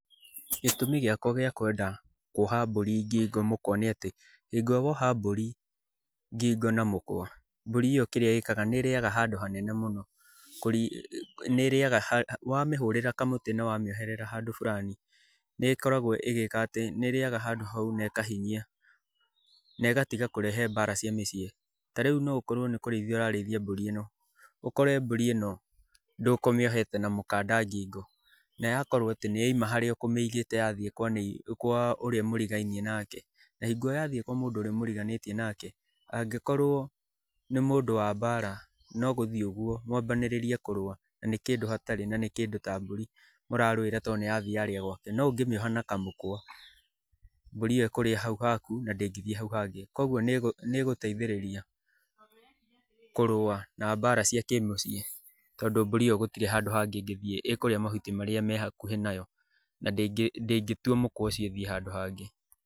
Gĩtũmi gĩakwa gĩa kwenda kuoha mbũri ngingo mũkwa nĩ atĩ hĩngo ĩrĩa woha mbũri ngingo na mũkwa, mbũri ĩyo nĩ ĩrĩaga handũ hanene mũno. Wamĩhũrĩrĩra kamũtĩ na wamĩoherera handũ burani, nĩ ĩrĩaga handũ hau na ĩkahinyia na ĩgatiga kũrehe mbara cia mũciĩ. Ta rĩu no ũkorũo nĩ kũrĩithia ũrarĩithia mbũrĩ ĩno, ũkore mbũri ĩno ndũkũmiohete ma mũkanda ngingo na yakorũo atĩ nĩ yoima harĩa ũkũmĩigĩte yathiĩ kwa ũrĩa mũrigainie nake, na hingo ĩrĩa yathiĩ kwa ũrĩa mũriganĩtie nake, angĩkorũo nĩ mũndũ wa mbara no gũthiĩ ũguo mwambanĩrĩrie kũrũa na nĩ kĩndũ hatarĩ na nĩ kĩndũ ta mbũri mũrarũira tondũ nĩyathiĩ yarĩa gwake. No ũngĩmĩoha na kamũkwa, mbũrĩ ĩyo ĩkũrĩa hau haku na ndĩngĩthiĩ hau hangĩ. Kwoguo nĩ ĩguteithĩrĩria kũrũa ma mbara cia kĩmũciĩ tondũ mbũri ĩyo gũtirĩ handũ hangĩ ĩngĩthiĩ, ĩkũrĩa mahuti marĩa me hakuhĩ nayo na ndĩngĩtua mũkwa ũcio ĩthiĩ handũ hangĩ.